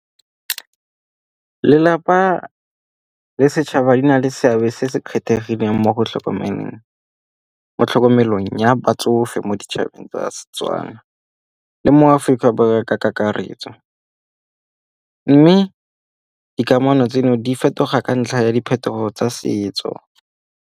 Lelapa le setšhaba di na le seabe se se kgethegileng mo tlhokomelong ya batsofe mo ditšhabeng tsa Setswana le mo Aforika Borwa ka kakaretso. Mme dikamano tseno di fetoga ka ntlha ya diphetogo tsa setso.